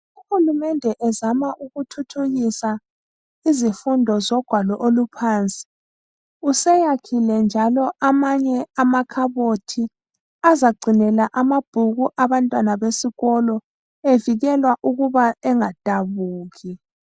Uhulumende ezama ukuthuthukisa izifundo zogwalo oluphansi, seyakhile futhi amanye amakhabothi azagcinela amabhuku abantwana besikolo evikelwa ukuba engadabuki.